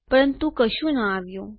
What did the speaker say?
પરંતુ કશું ન આવ્યું